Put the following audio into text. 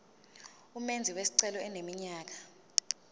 umenzi wesicelo eneminyaka